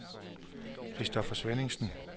Christopher Svenningsen